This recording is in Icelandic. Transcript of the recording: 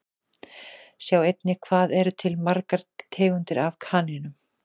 Sjá einnig Hvað eru til margar tegundir af kanínum?